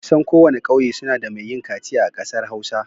Kusan kowane ƙauye suna da mai yin kaciya a ƙasar Hausa.